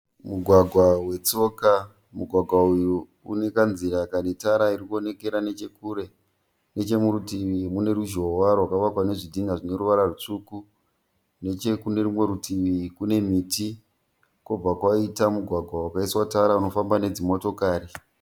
Mugwagwa wetsoka. Mugwagwa uyu une kanzira kane tara irikuonekera nechekure. Nechemurutivi mune ruzhowa rwakavakwa nezvidhinha zvine ruvara rutsvuku. Nechekune rumwe rutivi kune miti kwobva kwaita mugwagwa wakaiswa tara unofamba nedzimotokari.